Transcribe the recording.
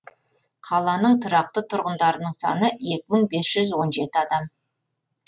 қаланың тұрақты тұрғындарының саны екі мың бес жүз он жеті адам